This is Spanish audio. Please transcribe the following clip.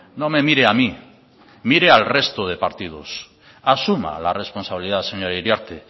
no me mire a mí mire al resto de partidos asuma la responsabilidad señora iriarte